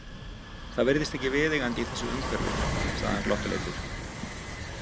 Það virðist ekki viðeigandi í þessu umhverfi, sagði hann glottuleitur.